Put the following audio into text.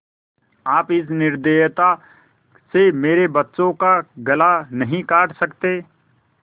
आप इस निर्दयता से मेरे बच्चों का गला नहीं काट सकते